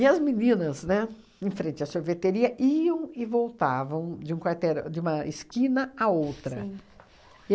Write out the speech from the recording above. E as meninas, né, em frente à sorveteria, iam e voltavam de um quarterã de uma esquina à outra.